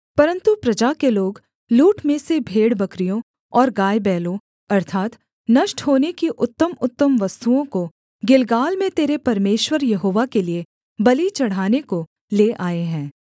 परन्तु प्रजा के लोग लूट में से भेड़बकरियों और गायबैलों अर्थात् नष्ट होने की उत्तमउत्तम वस्तुओं को गिलगाल में तेरे परमेश्वर यहोवा के लिये बलि चढ़ाने को ले आए हैं